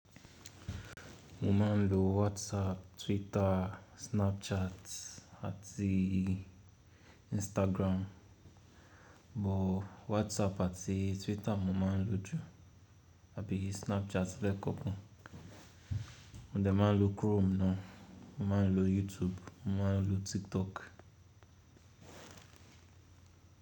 Mo ma ń lo WhatsApp, Twitter, Snapchat àti Instagram, bòó WhatsApp àti Twitter mo máa ń lo jù, àbí Snapchat lẹ́kọ̀ọ́ kan. Mò ń dẹ máa ń lo Chrome na. Mo máa ń lo YouTube, mo máa ń lo TikTok.